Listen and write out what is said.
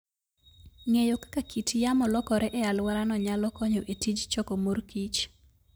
Ng'eyo kaka kit yamo lokore e alworano nyalo konyo e tij choko morkich.